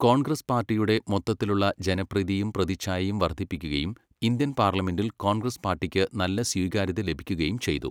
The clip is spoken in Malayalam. കോൺഗ്രസ് പാർട്ടിയുടെ മൊത്തത്തിലുള്ള ജനപ്രീതിയും പ്രതിച്ഛായയും വർധിപ്പിക്കുകയും ഇന്ത്യൻ പാർലമെന്റിൽ കോൺഗ്രസ് പാർട്ടിക്ക് നല്ല സ്വീകാര്യത ലഭിക്കുകയും ചെയ്തു.